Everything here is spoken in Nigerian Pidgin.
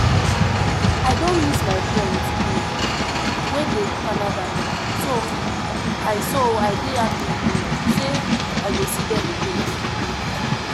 I don miss my friends um wey dey Canada so I so I dey happy um say I go see dem again